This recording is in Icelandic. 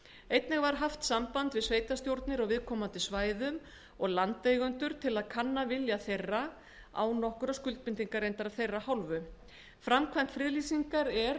einnig var haft samband við sveitarstjórnir á viðkomandi svæðum og heimamenn til að kanna lauslega vilja þeirra án nokkurra skuldbindinga af þeirra hálfu framkvæmd friðlýsingar er